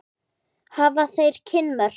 Hafa þeir kynmök?